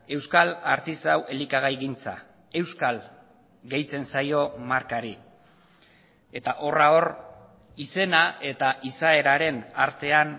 euskal artisau elikagaigintza euskal gehitzen zaio markari eta horra hor izena eta izaeraren artean